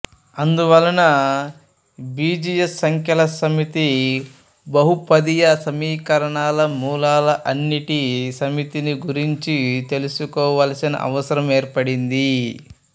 అందువలన బీజీయ సంఖ్యల సమితి బహుపదీయ సమీకరణాల మూలాల అన్నిటి సమితి ని గురించి తెలుసుకోవలసిన అవసరం ఏర్పడింది